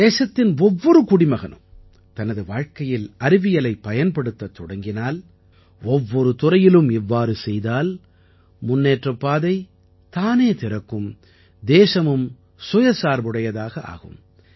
தேசத்தின் ஒவ்வொரு குடிமகனும் தனது வாழ்க்கையில் அறிவியலைப் பயன்படுத்தத் தொடங்கினால் ஒவ்வொரு துறையிலும் இவ்வாறு செய்தால் முன்னேற்றப் பாதை தானே திறக்கும் தேசமும் சுயசார்புடையதாக ஆகும்